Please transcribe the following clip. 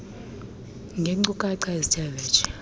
ngeenkcukacha ezithe vetshe